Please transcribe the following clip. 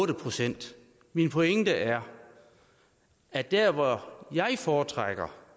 procent min pointe er at dér hvor jeg foretrækker